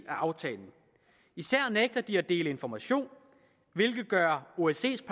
af aftalen især nægter de at dele information hvilket gør osces